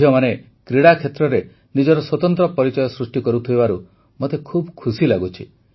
ଝିଅମାନେ କ୍ରୀଡ଼ା କ୍ଷେତ୍ରରେ ନିଜର ସ୍ୱତନ୍ତ୍ର ପରିଚୟ ସୃଷ୍ଟି କରୁଥିବାରୁ ମୋତେ ଖୁସି ଲାଗୁଛି